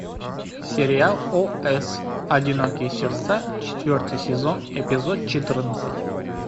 сериал о с одинокие сердца четвертый сезон эпизод четырнадцать